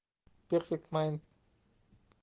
перфект майн